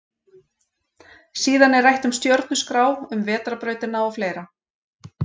Síðan er rætt um stjörnuskrá, um vetrarbrautina og fleira.